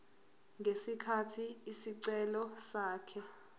ngesikhathi isicelo sakhe